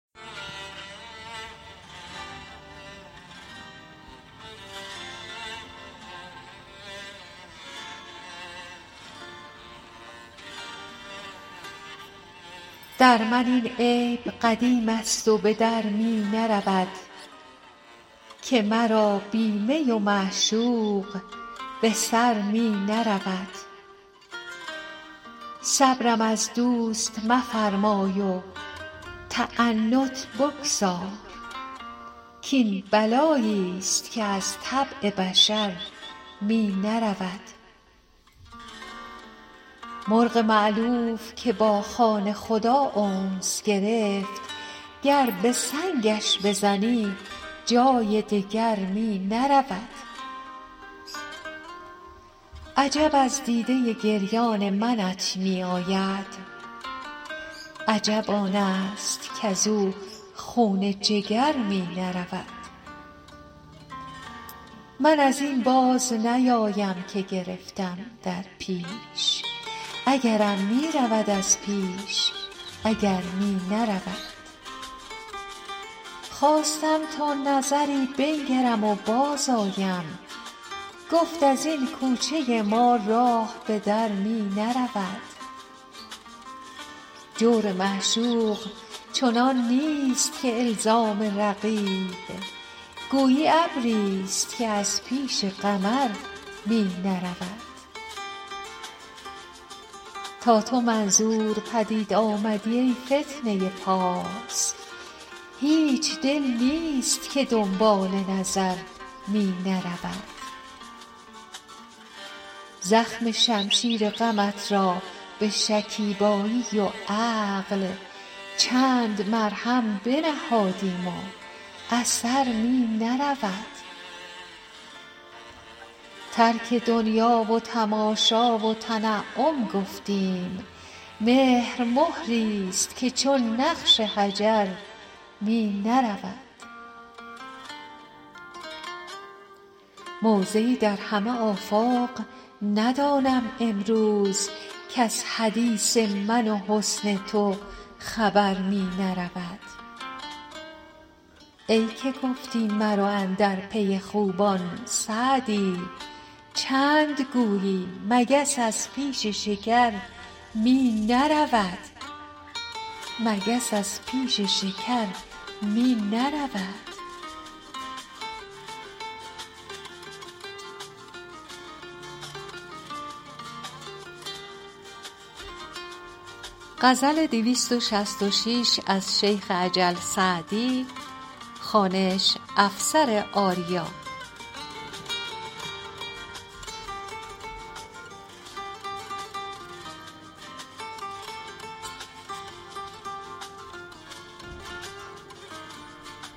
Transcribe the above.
در من این عیب قدیم است و به در می نرود که مرا بی می و معشوق به سر می نرود صبرم از دوست مفرمای و تعنت بگذار کاین بلایی ست که از طبع بشر می نرود مرغ مألوف که با خانه خدا انس گرفت گر به سنگش بزنی جای دگر می نرود عجب از دیده گریان منت می آید عجب آن است کز او خون جگر می نرود من از این باز نیایم که گرفتم در پیش اگرم می رود از پیش اگر می نرود خواستم تا نظری بنگرم و بازآیم گفت از این کوچه ما راه به در می نرود جور معشوق چنان نیست که الزام رقیب گویی ابری ست که از پیش قمر می نرود تا تو منظور پدید آمدی ای فتنه پارس هیچ دل نیست که دنبال نظر می نرود زخم شمشیر غمت را به شکیبایی و عقل چند مرهم بنهادیم و اثر می نرود ترک دنیا و تماشا و تنعم گفتیم مهر مهری ست که چون نقش حجر می نرود موضعی در همه آفاق ندانم امروز کز حدیث من و حسن تو خبر می نرود ای که گفتی مرو اندر پی خوبان سعدی چند گویی مگس از پیش شکر می نرود